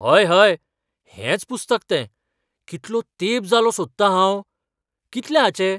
हय हय, हेंच तें पुस्तक! कितलो तेंप जालो सोदतां हांव. कितले हाचे?